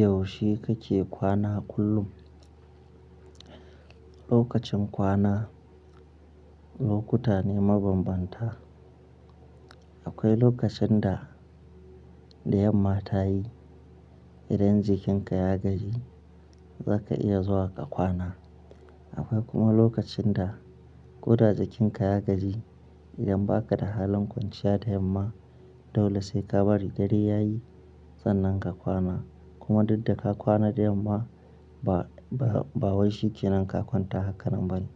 Yaushe kake kwana kullum? Lokacin kwana lokuta ne mabanbanta. Akwai lokacin da, da yamma ta yi idan jikinka ya gaji zaka iya zuwa ka kwana. Akwai kuma lokacin da koda jikinka ya gaji idan ba ka da halin kwanciya da yamma dole sai ka bari dare yayi sannan ka kwana. Kuma duk da ka kwana da yamma ba, ba wai shike nan ka kwanta hakanan bane.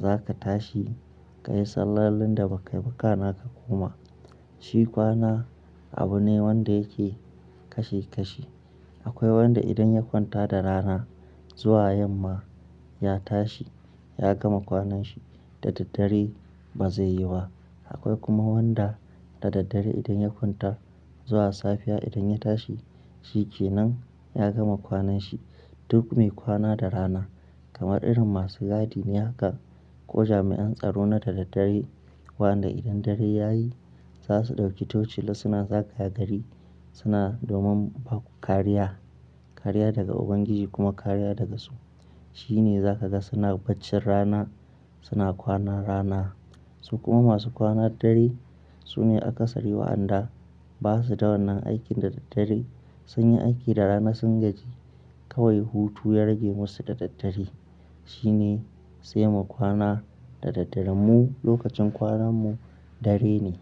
Za ka tashi ka yi sallolin da ba kai bakana ka koma. Shi kwana abu ne wanda yake kashe kashe. Akwai wanda idan ya kwanta da rana zuwa yamma ya tashi ya gama kwanan shi da daddare ba zai yi wa. Akwai kuma wanda da daddare idan ya kwanta zuwa safiya idan ya tashi shike nan ya gama kwanan shi. Duk mai kwana da rana kamar irin masu gadi ne haka ko jami'an tsaro na da daddare. Wanda idan dare yayi za su ɗauki tocila suna zagaya gari suna domin ba ku kariya, kariya daga Ubangiji kuma kariya daga su. Shi ne za ka ga suna baccin rana suna kwana rana. Su kuma masu kwana dare sune aka sari wa anda ba su da wannan aikin da daddare sun yi aiki da rana sun gaji kawai hutu ya rage musu da daddare. Shi ne sai mu kwana da daddare mu lokacin kwanan mu dare ne.